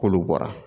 K'olu bɔra